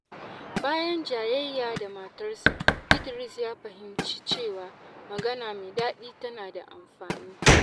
Bayan jayayya da matarsa, Idris ya fahimci cewa magana mai daɗi tana da amfani.